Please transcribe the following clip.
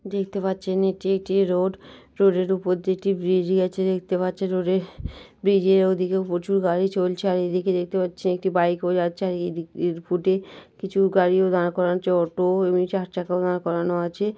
দেখতে পাচ্ছেন এটি একটি রোড । রোড -এর উপর দিয়ে একটি ব্রিজ গেছে দেখতে পাচ্ছেন। রোডে ব্রিজের ওই দিকে প্রচুর গাড়ি চলছে আর এই দিকে দেখতে পাচ্ছি একটা বাইকও যাচ্ছে আর এই দিকের ফুটে কিছু গাড়িও দাঁড় করান চ অটো এমনি চার চাকাও দাঁড় করানো আছে।